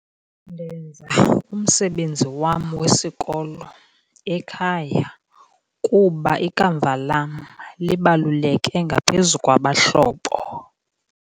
Ndenza umsebenzi wam wesikolo ekhaya kuba ikamva lam libaluleke ngaphezu kwabahlobo.